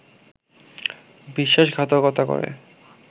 বিশ্বাসঘাতকতা করে